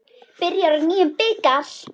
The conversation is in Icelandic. Byrjar á nýjum bikar.